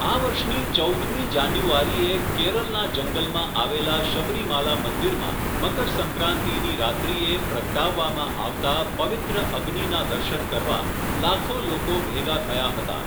આ વર્ષની ચૌદ મી જાન્યુવારીએ, કેરલના જંગલમાં આવેલા શબરીમાલા મંદિરમાં, મકરસંક્રાંતિની રાત્રિએ, પ્રગટાવવામાં આવતા, પવિત્ર અગ્નિના દર્શન કરવા, લાખો લોકો ભેગા થયા હતા.